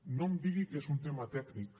no em digui que és un tema tècnic